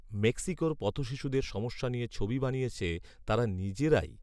মেক্সিকোর পথশিশুদের সমস্যা নিয়ে ছবি বানিয়েছে তারা নিজেরাই